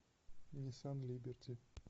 ниссан либерти